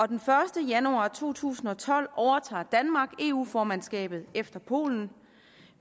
den første januar to tusind og tolv overtager danmark eu formandskabet efter polen